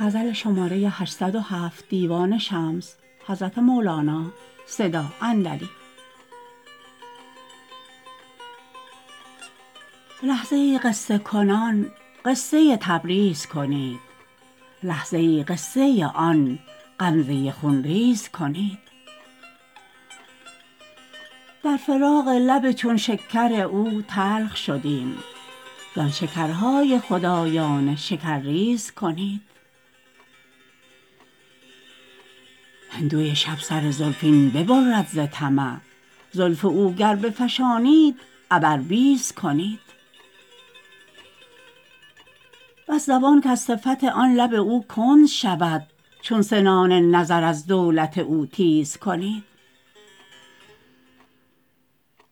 لحظه ای قصه کنان قصه تبریز کنید لحظه ای قصه آن غمزه خون ریز کنید در فراق لب چون شکر او تلخ شدیم زان شکرهای خدایانه شکرریز کنید هندوی شب سر زلفین ببرد ز طمع زلف او گر بفشانید عبربیز کنید بس زبان کز صفت آن لب او کند شود چون سنان نظر از دولت او تیز کنید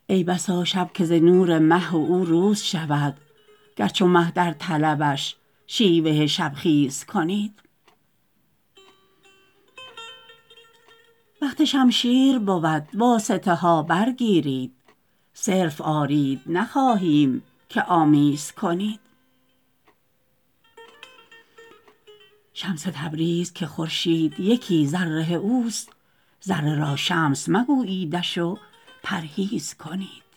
ای بسا شب که ز نور مه او روز شود گرچه مه در طلبش شیوه شبخیز کنید وقت شمشیر بود واسطه ها برگیرید صرف آرید نخواهیم که آمیز کنید شمس تبریز که خورشید یکی ذره اوست ذره را شمس مگوییدش و پرهیز کنید